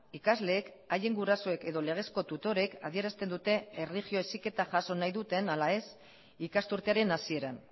ikasleek haien gurasoek edo legezko tutorek adierazten dute erlijio heziketa jaso nahi duten ala ez ikasturtearen hasieran